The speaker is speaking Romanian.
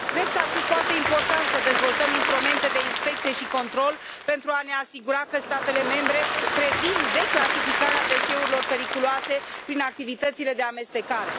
Cred că ar fi foarte important să dezvoltăm instrumente de inspecție și control pentru a ne asigura că statele membre previn declasificarea deșeurilor periculoase prin activitățile de amestecare.